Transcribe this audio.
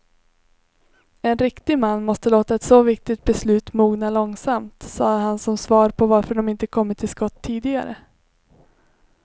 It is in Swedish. En riktig man måste låta ett så viktigt beslut mogna långsamt, sade han som svar på varför de inte kommit till skott tidigare.